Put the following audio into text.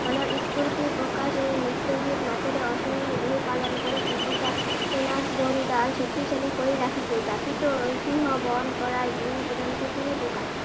মনৰ স্ফূৰ্তি প্ৰকাশৰে নৃত্য গীত মাতেৰে অসমীয়াই বিহু পালন কৰি একতাৰ এনাজৰীডাল শক্তিশালী কৰি ৰাখিছে। জাতিটোৰ ঐতিহ্য বহন কৰা বিহু প্ৰধানতে তিনি প্ৰকাৰ।